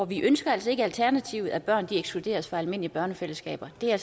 vi ønsker altså ikke alternativet at børn ekskluderes fra almindelige børnefællesskaber det er